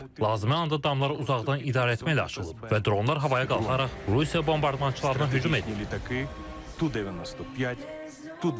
Lazımi anda damlar uzaqdan idarə etməklə açılıb və dronlar havaya qalxaraq Rusiya bombardmançılarına hücum edib: Tu-95, Tu-22M3.